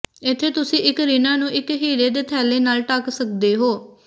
ਇੱਥੇ ਤੁਸੀਂ ਇਕ ਰਿਣਾਂ ਨੂੰ ਇਕ ਹੀਰੇ ਦੇ ਥੈਲੇ ਨਾਲ ਢੱਕ ਸਕਦੇ ਹੋ